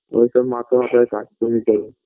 ওইসব master মশাইয়ের কাজ তুমি করো